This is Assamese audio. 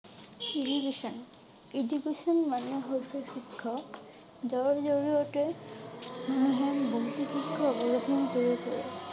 Education Education মানে হৈছে শিক্ষক । জৰ জৰিয়তে মানুহে ।